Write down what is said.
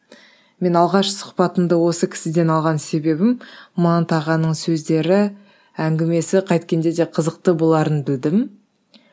мен алғаш сұхбатымды осы кісіден алған себебім манат ағаның сөздері әңгімесі қайткенде де қызықты боларын білдім